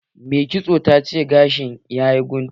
Mai kitson ta ce gashin ta yayi guntu.